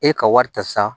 E ka wari ta sa